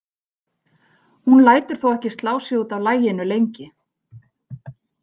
Hún lætur þó ekki slá sig út af laginu lengi.